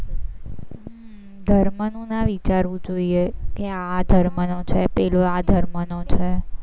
ધર્મનું ના વિચારવું જોઈએ કે આ ધર્મનો છે, પેલો આ ધર્મનો છે.